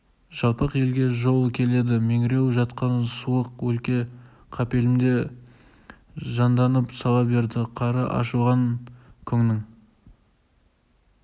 жалпақ елге жол ашып келеді меңіреу жатқан суық өлке қапелімде жанданып сала берді қары аршылған көңнің